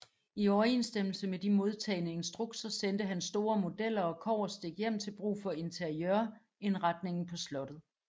I overensstemmelse med de modtagne instrukser sendte han store modeller og kobberstik hjem til brug for interiørindretningen på slottet